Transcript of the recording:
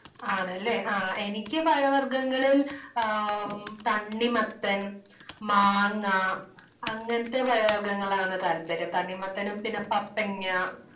ആണല്ലെ? എനിക്ക് പഴവർഗങ്ങളിൽ തണ്ണി മത്തൻ, മാങ്ങ അങ്ങനത്തെ പഴവർഗങ്ങളാണ് താല്പര്യം. തണ്ണിമത്തനും പിന്നെ പപ്പങ്ങ